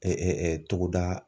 togoda.